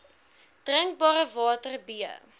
drinkbare water b